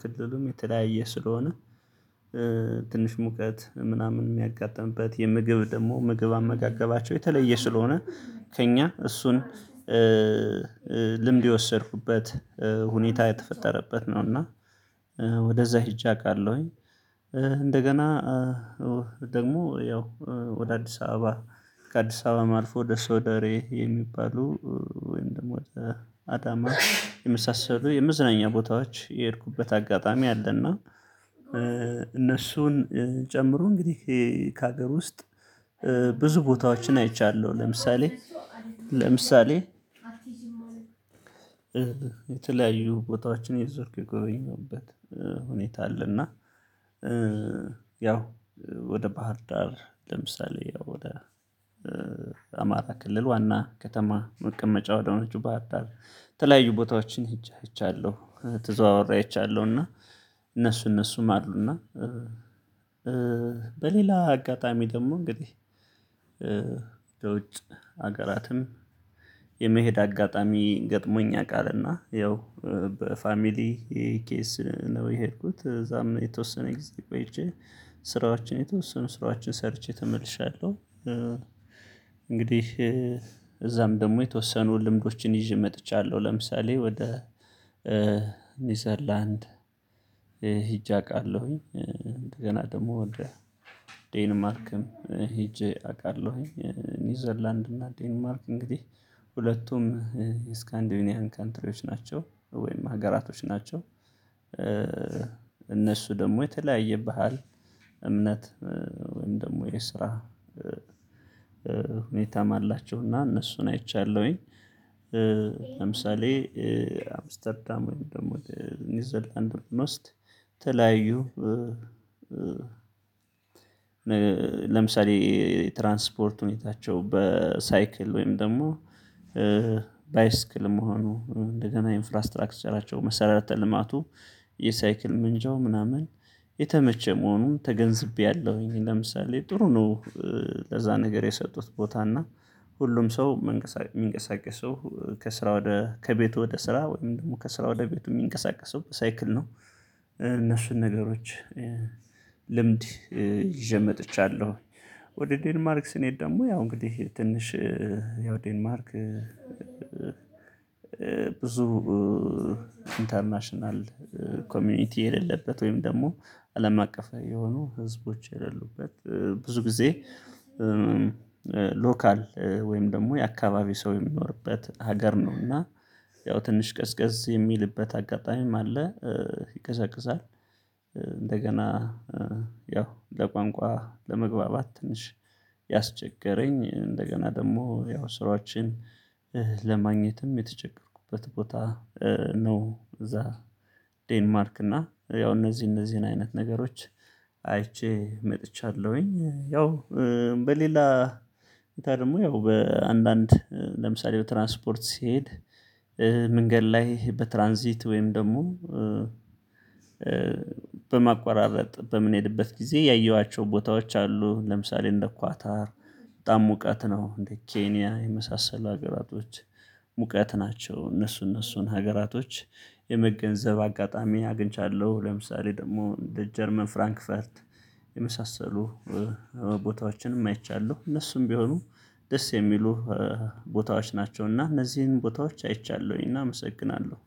ክልሉም የተለያየ ስለሆነ ትንሽ ሙቀት ምናምን የሚያጋጥምበት የምግብ ደግሞ ምግብ አመጋገባቸው የተለየ ስለሆነ ከእኛ እሱን ልምድ የወሰድኩበት ሁኔታ የተፈጠረበት ነው። እና ወደዛ ሄጄ አውቃለሁኝ። እንደገና ደግሞ ያው ወደ አዲስ አበባ ከአዲስ አበባ አልፎ ደስ ሶደሬ የሚባሉ ወይም ደግሞ አዳማ የመሳሰሉ የምዝናኛ ቦታዎች የሄድኩበት አጋጣሚ አለና እነሱን ጨምሮ እንግዲህ ከሀገር ውስጥ ብዙ ቦታዎችን አይቻለሁ። ለምሳሌ ለምሳሌ የተለያዩ ቦታዎችን እየዞርኩ የጎበኘዉበት ሁኔታ አለና ያው ወደ ባህር ዳር ለምሳሌ ወደ አማራ ክልል ዋና ከተማ መቀመጫ ወደሆነችው ባሀር ዳር የተለያዩ ቦታዎችን ሄጄ አይቻለሁ ተዘዋውሬ አይቻለሁ። እና እነሱ እነሱም አሉ እና በሌላ አጋጣሚ ደግሞ እንግዲህ በውጭ ሀገራትም የመሄድ አጋጣሚ ገጥሞኛ ያቃል እና ያው በፋሚሊ ኬዝ ነው የሄድኩት እዛም የተወሰነ ጊዜ ቆይቼ ስራዎችን የተወሰኑ ስራዎችን ሰርቼ ተመልሻለሁ። እንግዲህ እዛም ደግሞ የተወሰኑ ልምዶችን ይዤ መጥቻለሁ ለምሳሌ ወደ ኒውዘርላንድ ሄጅ አውቃለሁኝ ገና ደግሞ ዴንማርክም ሄጄ አውቃለሁኝ ኒውዘርላንድ እና ዴንማርክ እንግዲህ ሁለቱም ስካንዲዩኒያን ካንትሪዎች ናቸው ወይም ሀገራቶች ናቸው እነሱ ደግሞ የተለያየ ባህል እምነት ወይም ደግሞ የስራ ሁኔታም አላቸውና እነሱን አይቻለሁኝ። ለምሳሌ አምስተርዳም ወይም ደግሞ ኒዉዘርላንድ ብንወስድ ተለያዩ ለምሳሌ ትራንስፖርት ሁኔታቸው በሳይክል ወይም ደግሞ ባይስክል መሆኑ እንደገና ኢንፍራስትራክቸራቸው መሰረተ ልማቱ የሳይክል ምንጃው ምናምን የተመቸ መሆኑን ተገንዝቤያለሁኝ። ለምሳሌ ጥሩ ነው ለዛ ነገር የሰጡት ቦታ እና ሁሉም ሰው የሚንቀሳቀሰው ከስራ ወደ ከቤቱ ወደ ስራ ወይም ደግሞ ከስራ ወደ ቤቱ የሚንቀሳቀሰው በሳይክል ነው እነሱን ነገሮች ልምድ ይዤ መጥቻለሁ። ወደ ዴንማርክ ስንሄድ ደግሞ ያው እንግዲህ ትንሽ ያው ዴንማርክ ብዙ ኢንተርናሽናል ኮሚኒቲ የሌለበት ወይም ደግሞ አለም አቀፋዊ የሆኑ ህዝቦች የሌሉበት ብዙ ጊዜ ሎካል ወይም ደግሞ የአካባቢ ሰው የሚኖርበት ሀገር ነው እና ያው ትንሽ ቀዝቀዝ የሚልበት አጋጣሚም አለ። ይቀዘቅዛል እንደገና ያው ለቋንቋ ለመግባባት ትንሽ ያስቸገረኝ እንደገና ደግሞ ያው ስራዎችን ለማግኘትም የተቸገርኩበት ቦታ ነው። እዛ ዴንማርክ እና ያው እነዚህ እነዚህን አይነት ነገሮች አይቼ መጥቻለሁኝ። ያው በሌላ ደግሞ ያው በአንዳንድ ለምሳሌ በትራንስፖርት ሲሄድ መንገድ ላይ በትራንዚት ወይም ደግሞ በማቆራረጥ በምንሄድበት ጊዜ ያየኋቸው ቦታዎች አሉ። ለምሳሌ እንደ ኳታር በጣም ሙቀት ነው እንደ ኬንያ የመሳሰሉ ሀገራቶች ሙቀት ናቸው እነሱ እነሱን ሀገራቶች የመገንዘብ አጋጣሚ አግኝቻለሁ። ለምሳሌ ደግሞ እንደ ጀርመን ፍራንክፈርት የመሳሰሉ ቦታዎችንም አይቻለሁ እነሱም ቢሆኑ ደስ የሚሉ ቦታዎች ናቸውና እነዚህን ቦታዎች አይቻለሁኝና አመሰግናለሁ።